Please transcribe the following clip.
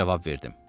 Mən cavab verdim.